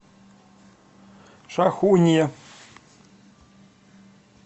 шахунье